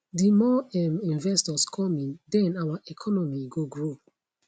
di more um investors come in den our economy go grow